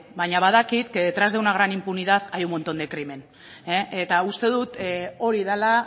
baina badakit que detrás de una gran impunidad hay un montón de crimen eta uste dut hori dela